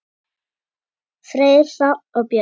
Freyr, Hrafn og Björk.